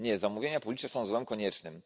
Nie, zamówienia publiczne są złem koniecznym.